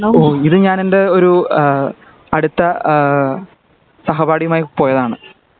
ഓഹ് ഇത് ഞാൻ എൻ്റെ ഒരു ആഹ് അടുത്ത ആഹ് സഹപാഠിയുമായി പോയതാണ്